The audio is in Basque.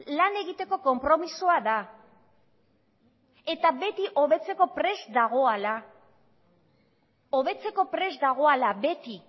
lan egiteko konpromisoa da eta beti hobetzeko prest dagoala hobetzeko prest dagoala beti